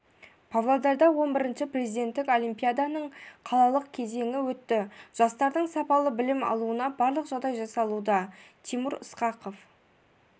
павлодарда хі президенттік олимпиаданың қалалық кезеңі өтті жастардың сапалы білім алуына барлық жағдай жасалуда тимур ысқақов